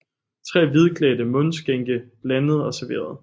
Tre hvidklædte mundskænke blandede og serverede